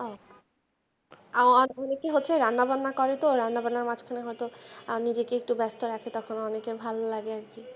আর অনেকেই হচ্ছে রান্নাবান্না করতো রান্নাবান্নার মাঝখানে হয়তো নিজেকে একটু ব্যাস্ত রাখে তখন অনেকে ভাল্লাগে আর কি।